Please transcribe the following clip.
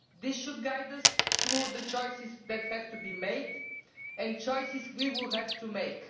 This should guide us through the choices that have to be made and the choices we will have to make.